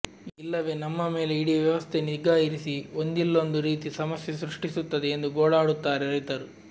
ಇಲ್ಲವೇ ನಮ್ಮ ಮೇಲೆ ಇಡಿ ವ್ಯವಸ್ಥೆ ನಿಗಾ ಇರಿಸಿ ಒಂದಿಲ್ಲೊಂದು ರೀತಿ ಸಮಸ್ಯೆ ಸೃಷ್ಟಿಸುತ್ತದೆ ಎಂದು ಗೋಳಾಡುತ್ತಾರೆ ರೈತರು